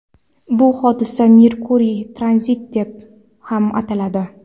Bu hodisa Merkuriy tranziti deb ham ataladi.